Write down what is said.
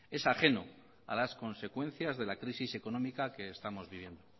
es ajeno a las consecuencias de la crisis económica que estamos viviendo